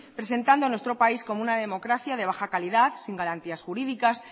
presentando a nuestro país como una democracia de baja calidad sin garantías jurídicas